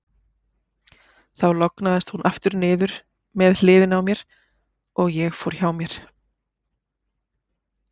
Þar lognaðist hún aftur niður með hliðinni á mér, og ég fór hjá mér.